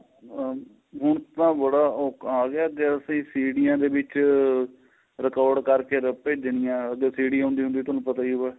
ਆਹ ਹੁਣ ਤਾਂ ਬੜਾ ਆਂ ਗਿਆ ਜਦ ਅਸੀਂ ਸੀਡੀਆਂ ਦੇ ਵਿੱਚ record ਕਰਕੇ ਭੇਜਣੀਆਂ ਉਹਦੋ CD ਹੁੰਦੀ ਸੀ ਤੁਹਾਨੂੰ ਪਤਾ ਹੀ ਏ